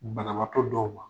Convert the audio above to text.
Banabatɔ dɔw ma